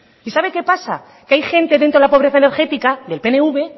y sabe qué pasa que hay gente dentro de la pobreza energética del pnv